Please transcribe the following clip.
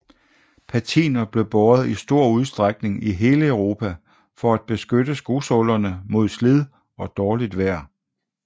Patiner blev båret i stor udstrækning i hele Europa for at beskytte skosålerne mod slid og dårligt vejr